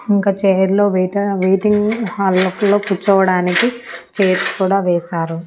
ఇంక చైర్ లో waiter waiting hall లోపల కూర్చోవడానికి చైర్స్ కూడా వేశారు.